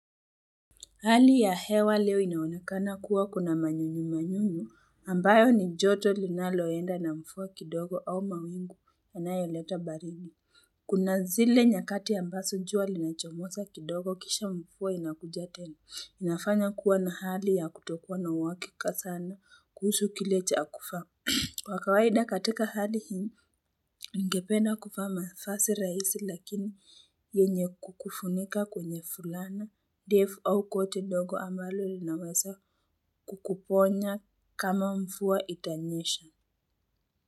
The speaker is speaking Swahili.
Hali ya hewa leo inaonekana kuwa kuna manyunyu manyunyu ambayo ni joto linaloenda na mvua kidogo au mawingu yanayoleta baridi. Kuna zile nyakati ambazo jua linachomoza kidogo kisha mvua inakuja tena. Inafanya kuwa na hali ya kutokuwa na uhakika sana kuhusu kile chakufa. Wa kawaida katika hali hii ningependa kuvaa mavasi rahisi lakini yenye kukufunika kwenye fulana ndefu au koti dogo ambalo linaweza kukuponya kama mvua itanyesha.